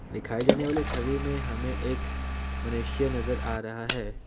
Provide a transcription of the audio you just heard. दिखाई जानी वाली छवि में हमें यह एक मनुष्य नजर आ रहा है।